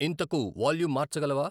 ఇంతకు వాల్యూం మార్చగలవా